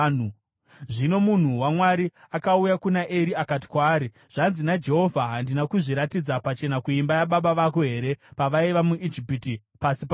Zvino munhu waMwari akauya kuna Eri akati kwaari, “Zvanzi naJehovha: ‘Handina kuzviratidza pachena kuimba yababa vako here pavaiva muIjipiti pasi paFaro?